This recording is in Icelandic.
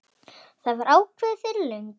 Það var ákveðið fyrir löngu.